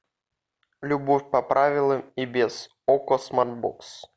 любовь по правилам и без окко смартбокс